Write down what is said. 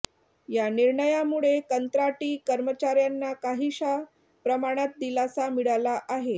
या निर्णयामुळे कंत्राटी कर्मचाऱ्यांना काहीशा प्रमाणात दिलासा मिळाला आहे